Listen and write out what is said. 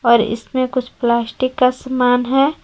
और इसमें कुछ प्लास्टिक का सामान है।